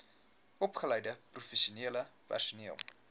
opgeleide professionele personeel